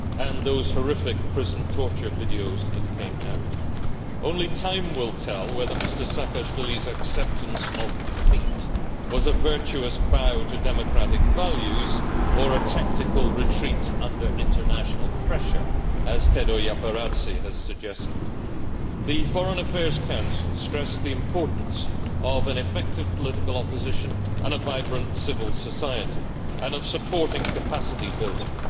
and those horrific prison torture videos that came out. Only time will tell whether Mr Saakashvili's acceptance of defeat was a virtuous bow to democratic values, or a tactical retreat under international pressure, as Tedo Japaridze has suggested. The Foreign Affairs Council stressed the importance of an effective political opposition and a vibrant civil society and of supporting capacity building.